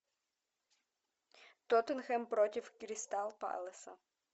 тоттенхэм против кристал пэласа